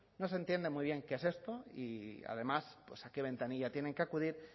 no se entiende muy bien qué es esto y además a qué ventanilla tienen que acudir